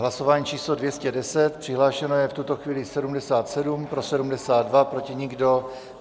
Hlasování číslo 210, přihlášeno je v tuto chvíli 77, pro 72, proti nikdo.